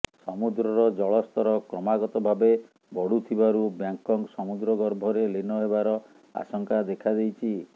ସମୁଦ୍ରର ଜଳସ୍ତର କ୍ରମାଗତଭାବେ ବଢୁଥିବାରୁ ବ୍ୟାଙ୍କକ୍ ସମୁଦ୍ରଗର୍ଭରେ ଲୀନ ହେବାର ଆଶଙ୍କା ଦେଖାଦେଇଛି